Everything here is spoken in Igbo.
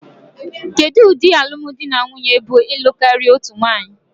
Kedu ụdị alụm di na nwunye bụ ịlụ karịa otu nwanyị?